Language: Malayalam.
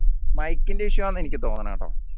mike ന്റെ issue ആന്ന് എനിക്ക് തോന്നണെ കേട്ടോ